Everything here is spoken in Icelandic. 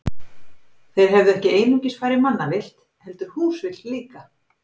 Þeir hefðu ekki einungis farið mannavillt, heldur húsvillt líka.